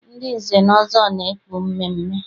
Ndị nze na ọzọ na-ekpu mmeemmee.